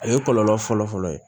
A ye kɔlɔlɔ fɔlɔ-fɔlɔ ye